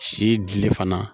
Si dili fana